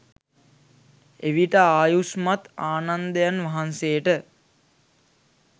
එවිට ආයුෂ්මත් ආනන්දයන් වහන්සේට